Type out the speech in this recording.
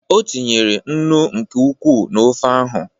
O tinyere nnu nke ukwuu na ofe ahụ.